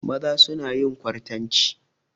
Maza suna yin kwartanci.